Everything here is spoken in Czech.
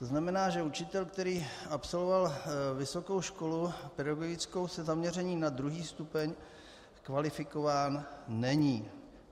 To znamená, že učitel, který absolvoval vysokou školu pedagogickou se zaměřením na II. stupeň, kvalifikován není.